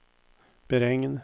beregn